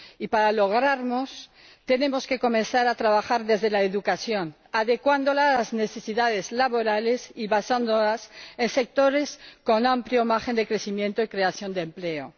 para lograrlo, tenemos que comenzar a trabajar desde la educación, adecuándola a las necesidades laborales y basándola en sectores con amplio margen de crecimiento y creación de empleo.